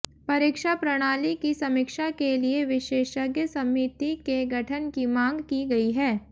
परीक्षा प्रणाली की समीक्षा के लिए विशेषज्ञ समिति के गठन की मांग की गई है